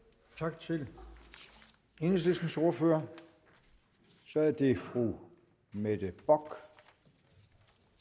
tak til enhedslistens ordfører så er det fru mette bock